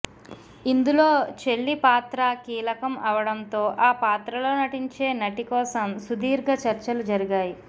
ఇందులో చెల్లి పాత్రా కీలకం అవడంతో ఆ పాత్రలో నటించే నటి కోసం సుధీర్గ చర్చలు జరిగాయి